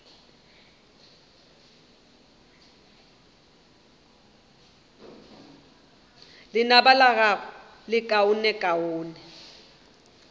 lenaba la gago le lekaonekaone